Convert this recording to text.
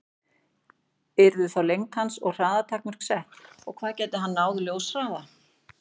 Yrðu þá lengd hans og hraða takmörk sett, og gæti hann náð ljóshraða?